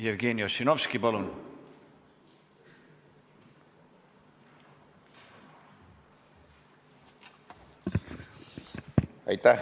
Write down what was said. Jevgeni Ossinovski, palun!